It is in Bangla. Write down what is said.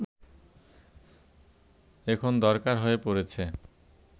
এখন দরকার হয়ে পড়েছে